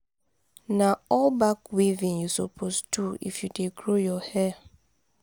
na all-back weaving you suppose do if you dey grow your hair.